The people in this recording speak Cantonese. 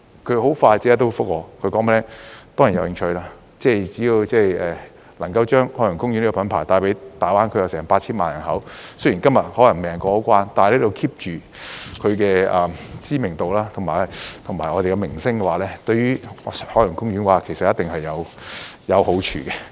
他很快便答覆說當然有興趣，只要能夠把海洋公園這個品牌帶給大灣區近 8,000 萬人口——雖然今天未能通關，但可以 keep 着它的知名度和我們的名聲的話——對海洋公園其實一定有好處。